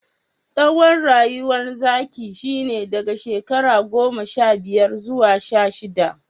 Tsawon rayuwar zaki shine daga shekara goma sha biyar zuwa sha shidda.